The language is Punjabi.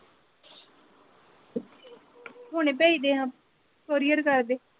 ਹੁਣੇ ਪੇਜ ਦੇ ਆ ਕੋਰੀਰ ਕਰ ਦੇ।